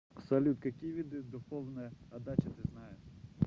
салют какие виды духовная отдача ты знаешь